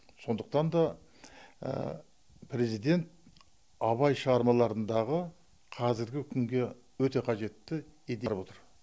сондықтан да президент абай шығармаларындағы қазіргі күнге өте қажетті идея алып отыр